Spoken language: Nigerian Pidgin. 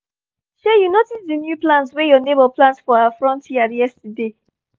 shey you notice the new plant wey your neighbour plant for her front yard yesterday?